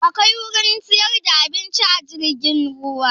Akwai wurin siyar da abinci a jirgin ruwa?